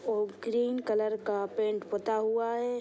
और green colour का pant पूता हुआ है।